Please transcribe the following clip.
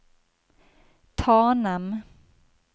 Tanem